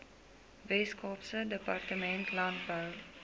weskaapse departement landbou